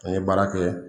An ye baara kɛ